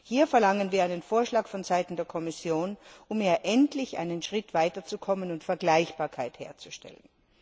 Hier verlangen wir einen Vorschlag vonseiten der Kommission, um hier endlich einen Schritt weiterzukommen und Vergleichbarkeit herzustellen.